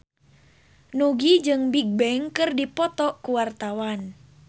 Nugie jeung Bigbang keur dipoto ku wartawan